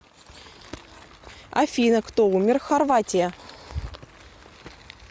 афина кто умер в хорватия